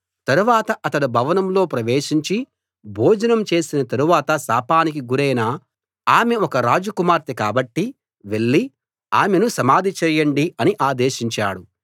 తరువాత అతడు భవనంలో ప్రవేశించి భోజనం చేసిన తరువాత శాపానికి గురైన ఆమె ఒక రాజ కుమార్తె కాబట్టి వెళ్ళి ఆమెని సమాధి చేయండి అని ఆదేశించాడు